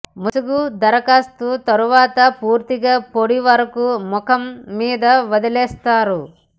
ముసుగు దరఖాస్తు తరువాత పూర్తిగా పొడి వరకు ముఖం మీద వదిలేస్తారు